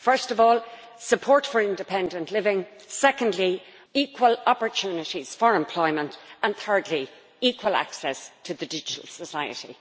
First of all, support for independent living, secondly equal opportunities for employment, and thirdly equal access to the digital society.